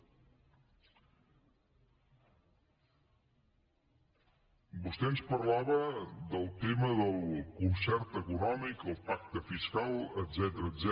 vostè ens parlava del tema del concert econòmic del pacte fiscal etcètera